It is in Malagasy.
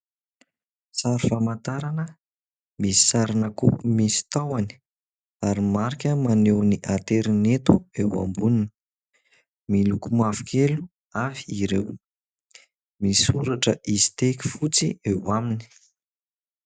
Sary famantarana misy sarina kaopy misy tahony ary marika maneho ny aterineto, eo amboniny miloko mavokely avy ireo, misy soratra ''izy tek'' fotsy eo aminy.